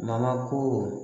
Mana ko